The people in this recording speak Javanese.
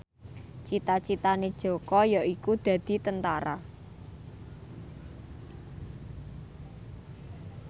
cita citane Jaka yaiku dadi Tentara